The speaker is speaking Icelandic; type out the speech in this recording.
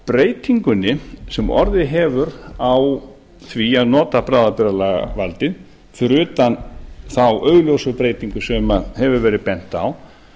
breytingunni sem orðið hefur á því að nota bráðabirgðalagavaldið fyrir utan þá augljósu breytingu sem hefur verið bent á